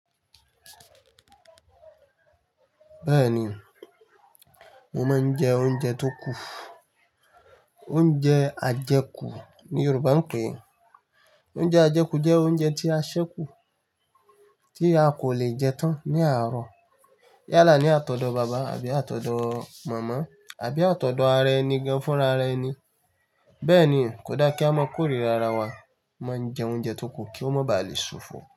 Bẹ́ẹ̀ni, mo máa ń jẹ oúnjẹ tó kù. Oúnjẹ ajẹkù ni Yorùbá ń pè é. Oúnjẹ ajẹkù jẹ́ oúnjẹ tí a ṣẹ́ kù, tí a kò lè jẹ tán ní àárọ̀ yálà ní àtọ̀dọ́ bàbá àbí àtọ̀dọ́ màmá àbí àtọ̀dọ́ ara ẹni gan-an fún rara ẹni. Bẹ́ẹ̀ ni, kò dá kí a máa kórìra ara wa, máa ń jẹ oúnjẹ tó kù kí ó má bà lè ṣòfò.